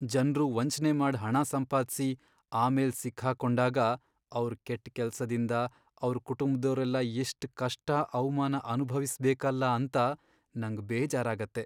ಜನ್ರು ವಂಚ್ನೆ ಮಾಡ್ ಹಣ ಸಂಪಾದ್ಸಿ ಆಮೇಲ್ ಸಿಕ್ ಹಾಕೊಂಡಾಗ, ಅವ್ರ್ ಕೆಟ್ ಕೆಲ್ಸದಿಂದ ಅವ್ರ್ ಕುಟುಂಬ್ದೋರೆಲ್ಲ ಎಷ್ಟ್ ಕಷ್ಟ, ಅವ್ಮಾನ ಅನ್ಭವಿಸ್ಬೇಕಲ್ಲ ಅಂತ ನಂಗ್ ಬೇಜಾರಾಗತ್ತೆ.